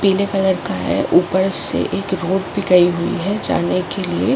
पीले कलर का है और ऊपर से एक रोड भी गई हुई है जाने के लिए।